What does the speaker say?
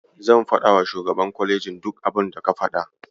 Zan faɗawa shugaban kwalejin duk abinda ka faɗa.